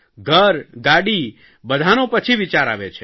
ઘર ગાડી બધાંનો પછી વિચાર આવે છે